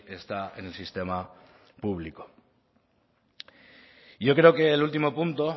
está en el sistema público yo creo que el último punto